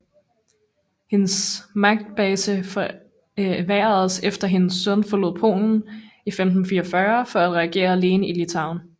Hendes magtbase forværredes efter hendes søn forlod Polen i 1544 for at regere alene i Litauen